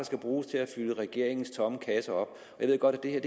skal bruges til at fylde regeringens tomme kasse op jeg ved godt at det her